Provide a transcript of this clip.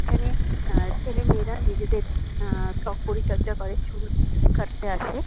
এখানে আ ছেলে-মেয়েরা নিজেদের আ ত্বক পরিচর্যা করে চুল চুল কাটতে আসে।